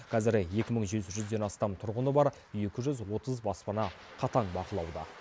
қазір екі мың жеті жүзден астам тұрғыны бар екі жүз отыз баспана қатаң бақылауда